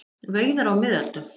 Veiðar á miðöldum.